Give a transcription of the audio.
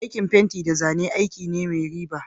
Aikin fenti da zane aiki ne mai riba.